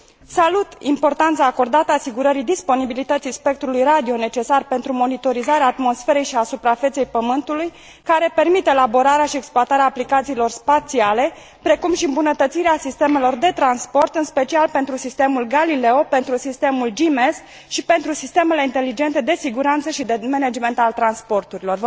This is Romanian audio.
Salut importanța acordată asigurării disponibilității spectrului radio necesar pentru monitorizarea atmosferei și a suprafeței pământului, care permit elaborarea și exploatarea aplicațiilor spațiale, precum și îmbunătățirea sistemelor de transport, în special pentru sistemul Galileo, pentru sistemul GMS și pentru sistemele inteligente de siguranță și de management al transporturilor.